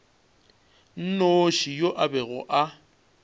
nnoši yo a bego a